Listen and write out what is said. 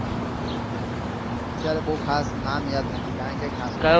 અત્યારે બઉ ખાસ નામ યાદ નથી કારણ કે ખાસો.